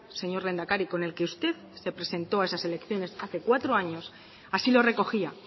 señor lehendakari con el que usted se presentó a esas elecciones hace cuatro años así lo recogía